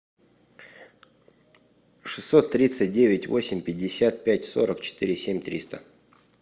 шестьсот тридцать девять восемь пятьдесят пять сорок четыре семь триста